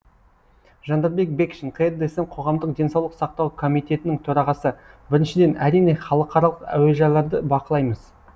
жандарбек бекшин қр дсм қоғамдық денсаулық сақтау комитетінің төрағасы біріншіден әрине халықаралық әуежайларды бақылаймыз